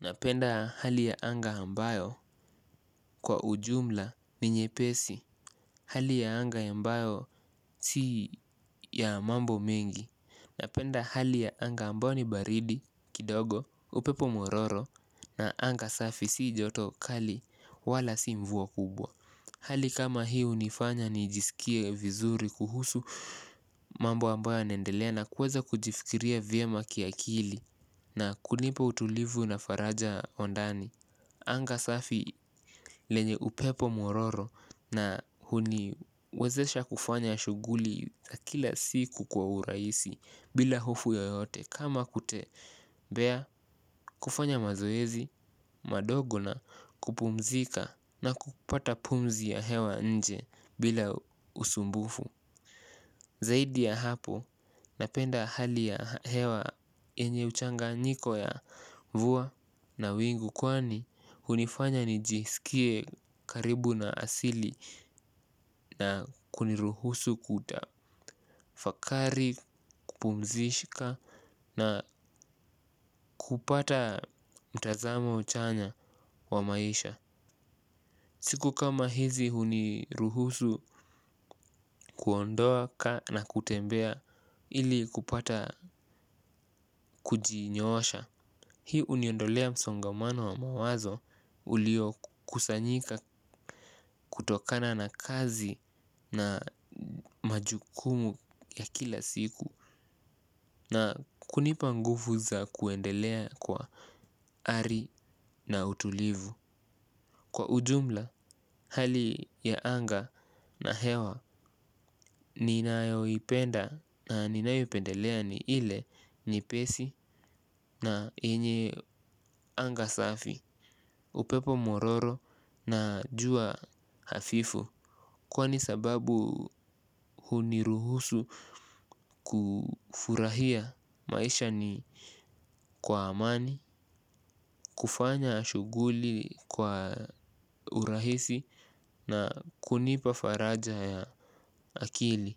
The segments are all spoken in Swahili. Napenda hali ya anga ambayo kwa ujumla ni nyepesi, hali ya anga ambayo si ya mambo mengi. Napenda hali ya anga ambayo ni baridi, kidogo, upepo mororo na anga safi si joto kali wala si mvuwa kubwa. Hali kama hiu nifanya ni jisikie vizuri kuhusu mambo ambayo naendelea na kuweza kujifikiria vye ma kiakili na kunipa utulivu na faraja ondani. Anga safi lenye upepo mororo na huni wezesha kufanya shuguli za kila siku kwa uraisi bila hofu yoyote. Kama kutembea kufanya mazoezi, madogo na kupumzika na kupata pumzi ya hewa nje bila usumbufu. Zaidi ya hapo napenda hali ya hewa enye uchanga niko ya vua na wingu kwani hunifanya nijisikie karibu na asili na kuniruhusu kuta fakari kupumzishika na kupata mtazamo chanya wa maisha. Siku kama hizi huniruhusu kuondoaka na kutembea ili kupata kujinyoosha. Hii uniondolea msongamano wa mawazo ulio kusanyika kutokana na kazi na majukumu ya kila siku. Na kunipangufu za kuendelea kwa ari na utulivu. Kwa ujumla hali ya anga na hewa ninaoipenda na ninaoipendelea ni ile nye pesi na enye anga safi. Upepo mororo na jua hafifu. Kwa ni sababu huniruhusu kufurahia maisha ni kwa amani. Kufanya shuguli kwa urahisi na kunipa faraja ya akili,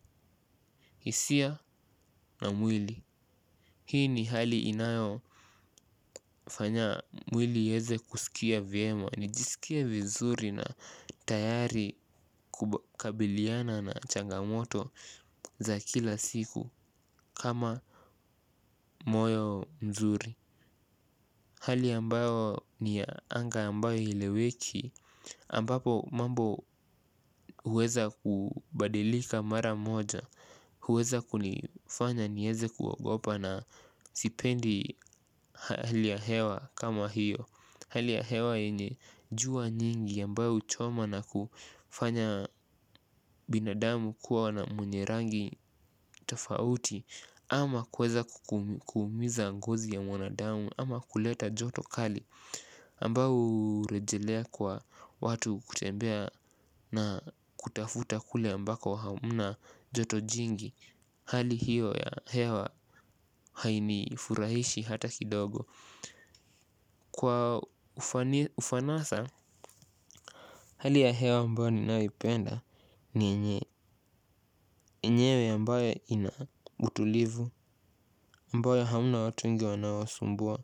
isia na mwili. Hii ni hali inayo fanya mwili iyeze kusikia viema. Nijisikie vizuri na tayari kukabiliana na changamoto za kila siku kama moyo mzuri. Hali ambayo ni anga ambayo ileweki ambapo mambo huweza kubadilika mara moja. Huweza kunifanya nieze kuwogopa na sipendi hali ya hewa kama hiyo hali ya hewa yenye jua nyingi ambao huchoma kufanya binadamu kuwa mwenye rangi tofauti. Ama kuweza kumiza ngozi ya mwanadamu ama kuleta joto kali ambao urejelea kwa watu kutembea na kutafuta kule ambako hamuna joto jingi. Hali hiyo ya hewa haini furahishi hata kidogo. Kwa ufanasha, hali ya hewa ambayo ni naipenda ni enyewe ambayo ina utulivu ambayo hamna watu wengi wanawosumbua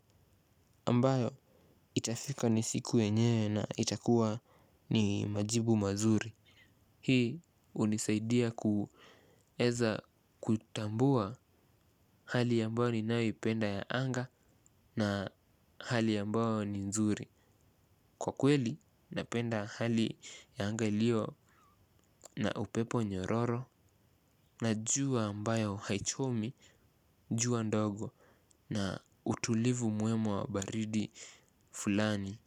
ambayo itafika ni siku enyewe na itakuwa ni majibu mazuri. Hii unisaidia kuweza kutambua hali ambayo ni naipenda ya anga. Na hali yambao ni nzuri. Kwa kweli napenda hali yanga lio na upepo nyororo. Najua ambayo haichomi jua ndogo. Na utulivu muema wa baridi fulani.